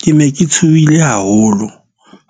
Ke ne ke tshohile haholo